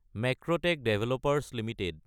Macrotech developers Ltd